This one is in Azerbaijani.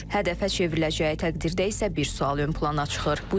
Hədəfə çevriləcəyi təqdirdə isə bir sual ön plana çıxır: